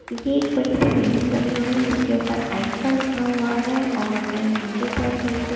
ये एक बड़ी सी बिल्डिंग बनी हुई है इसके ऊपर आई_फा लिखा हुआ है और नीचे साइड एक--